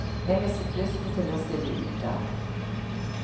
Jeg mistet lysten til å stille ut der.